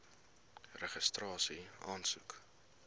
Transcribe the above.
registrasieaansoek